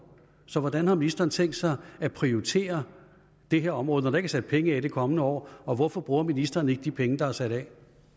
så hvordan har ministeren tænkt sig at prioritere det her område når der ikke er sat penge af det kommende år og hvorfor bruger ministeren ikke de penge der er sat af